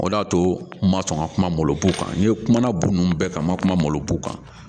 O de y'a to n ma sɔn ka kuma malo kan n'i ye kumana bo nun bɛɛ kan ma kumaw kan